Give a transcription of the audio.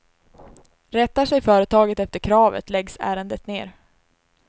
Rättar sig företaget efter kravet läggs ärendet ner.